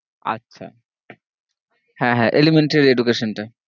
আচ্ছা হ্যাঁ হ্যাঁ elementary education টা